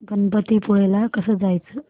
गणपतीपुळे ला कसं जायचं